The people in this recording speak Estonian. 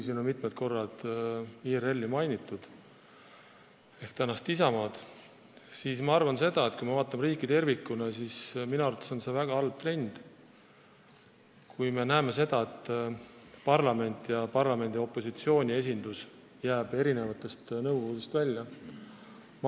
Siin on küll mitu korda IRL-i ehk tänast Isamaad mainitud, aga ma arvan, et kui me vaatame riiki tervikuna, siis minu arvates on see väga halb trend, kui parlamendi, sh parlamendi opositsiooni esindus jääb erinevatest nõukogudest välja.